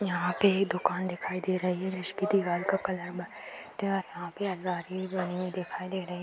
यहाँ पे ए दुकान दिखाई दे रही है जिसके दीवाल का कलर व्हाइट है यहाँ पे अलमारी भी बनी हुई दिखाई दे रही --